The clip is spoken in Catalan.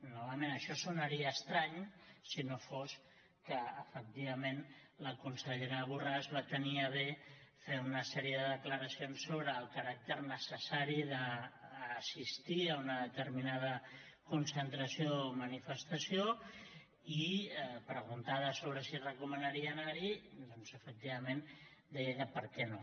novament això sonaria estrany si no fos que efectivament la consellera borràs va tenir a bé fer una sèrie de declaracions sobre el caràcter necessari d’assistir a una determinada concentració o manifestació i preguntada sobre si recomanaria anar hi doncs efectivament deia que per què no